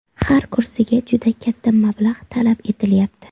Har kursiga juda katta mablag‘ talab etilyapti.